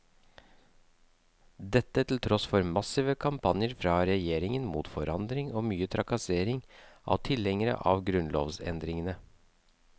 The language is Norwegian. Dette til tross for massive kampanjer fra regjeringen mot forandring og mye trakassering av tilhengerne av grunnlovsendringene.